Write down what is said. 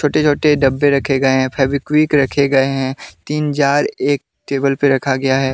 छोटे -छोटे डब्बे रखे गये है फेवीक्विक रखे गये है तीन जार एक टेबल पे रखा गया है।